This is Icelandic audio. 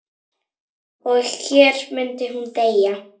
Og hér myndi hún deyja.